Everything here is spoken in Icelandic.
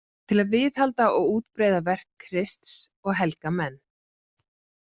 Til að viðhalda og útbreiða verk Krists og helga menn.